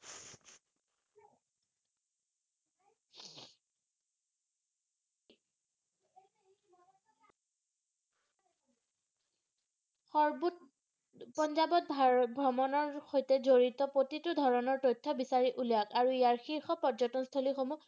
পাঞ্জাবত ভাৰত ভ্ৰমণৰ সৈতে জৰিত প্ৰতিটো ধৰণৰ তথ্য বিচাৰি উলিয়াওক আৰু ইয়াৰ শিৰ্ষ পৰ্যটনস্থলীসমুহ